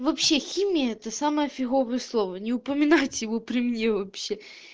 вообще химия это самое фиговое слово не упоминать его при мне вообще